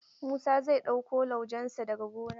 Musa zai ɗauko laujen sa daga gona.